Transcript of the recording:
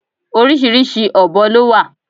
Oríṣiríṣi ọ̀bọ lọ wà.